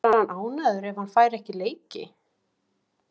Verður hann ánægður ef hann fær ekki leiki?